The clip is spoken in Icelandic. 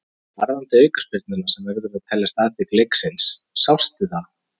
En varðandi aukaspyrnuna sem verður að teljast atvik leiksins, sástu það?